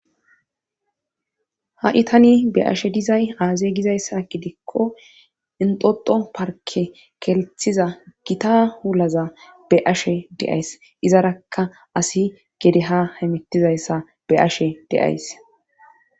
ha itani be ashe dizay aazey gizayssa gidikko inxoxo parke kelthiza gita hulaza be ashe deays izarakka asi gedeha himitizayssa beyashe de'ays.